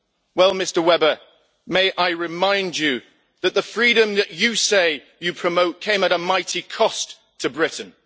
Well, Mr Weber, may I remind you that the freedom that you say you promote came at a mighty cost to Britain.